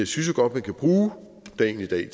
synes godt man kan bruge dagen i dag